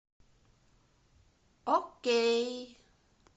окей